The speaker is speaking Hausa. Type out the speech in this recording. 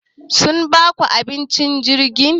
Sun baku abinci acikin jirgin?